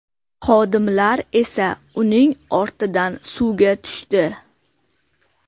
Xodimlar esa uning ortidan suvga tushdi.